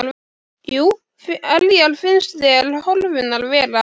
Jú, hverjar finnst þér horfurnar vera?